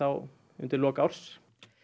undir loks árs